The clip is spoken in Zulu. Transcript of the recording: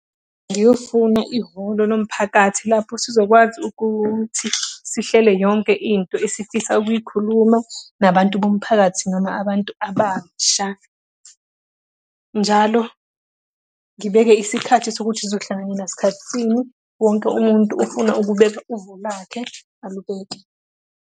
Ngiyofuna ihholo lomphakathi lapho sizokwazi ukuthi sihlele yonke into esifisa ukuyikhuluma nabantu bomphakathi noma abantu abasha. Njalo ngibeke isikhathi sokuthi sizohlanganyela ngasikhathi sini. Wonke umuntu ofuna ukubeka uvo lakhe, alubeke.